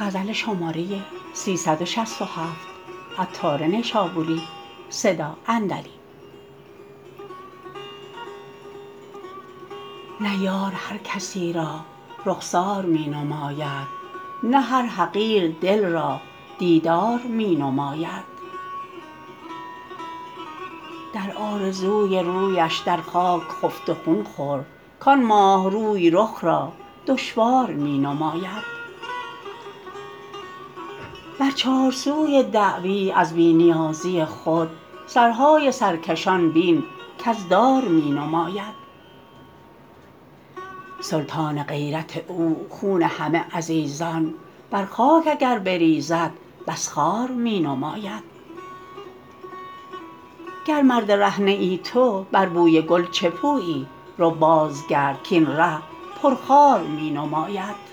نه یار هرکسی را رخسار می نماید نه هر حقیر دل را دیدار می نماید در آرزوی رویش در خاک خفت و خون خور کان ماه روی رخ را دشوار می نماید بر چار سوی دعوی از بی نیازی خود سرهای سرکشان بین کز دار می نماید سلطان غیرت او خون همه عزیزان بر خاک اگر بریزد بس خوار می نماید گر مرد ره نه ای تو بر بوی گل چه پویی رو باز گرد کین ره پر خار می نماید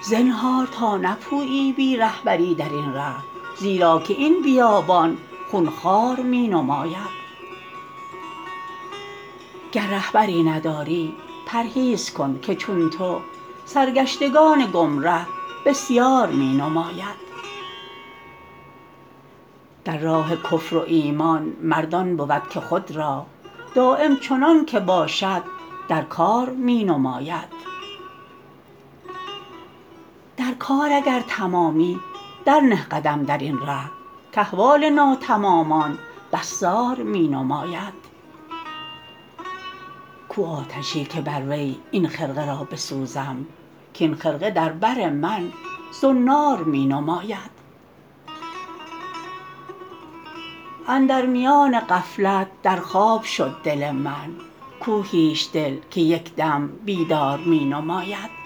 زنهار تا بپویی بی رهبری درین ره زیرا که این بیابان خون خوار می نماید گر مردیی نداری پرهیز کن که چون تو سرگشتگان گمره بسیار می نماید در راه کفر و ایمان مرد آن بود که خود را دایم چنانکه باشد در کار می نماید در کار اگر تمامی در نه قدم درین ره کاحوال ناتمامان بس زار می نماید کو آتشی که بر وی این خرقه را بسوزم کین خرقه در بر من زنار می نماید اندر میان غفلت در خواب شد دل من کو هیچ دل که یک دم بیدار می نماید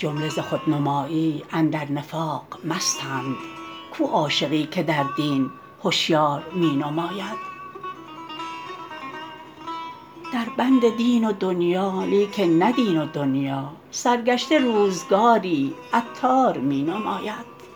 جمله ز خود نمایی اندر نفاق مستند کو عاشقی که در دین هشیار می نماید در بند دین و دنیی لیکن نه دین و دنیی سرگشته روزگاری عطار می نماید